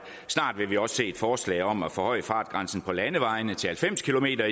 og snart vil vi også se et forslag om at forhøje fartgrænsen på landevejene til halvfems kilometer